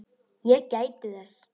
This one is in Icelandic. Ég gæti þess.